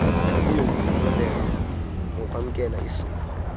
lingumyolelo ngokwamkela isipho